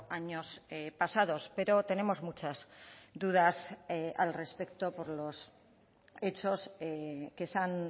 años pasados pero tenemos muchas dudas al respecto por los hechos que se han